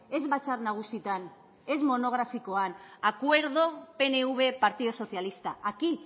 ez batzar nagusietan ez monografikoan acuerdo pnv partido socialista aquí